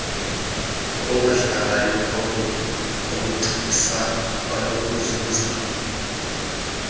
ukungahlangani ngokobugcisa kwanokuzuza